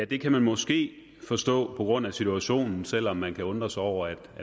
kan man måske forstå på grund af situationen selv om man kan undre sig over at